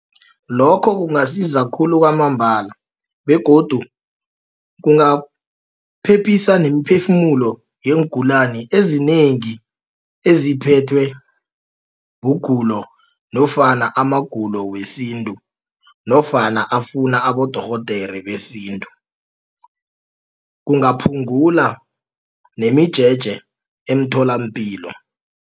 Lokho kungasiza khulu kwamambala begodu kungaphephisa nemiphefumulo iingulani ezinengi eziphethwe bugulo nofana amagulo wesintu nofana afuna abodorhodere besintu kungaphungula nemijeje emtholampilo.